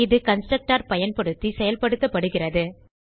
இது கன்ஸ்ட்ரக்டர் பயன்படுத்தி செயல்படுத்தப்படுகிறது